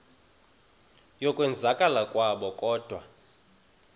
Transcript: yokwenzakala kwabo kodwa